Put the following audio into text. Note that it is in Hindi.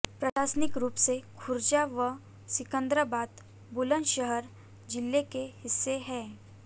प्रशासनिक रूप से खुर्जा व सिकंद्राबाद बुलंदशहर जिले के हिस्से हैं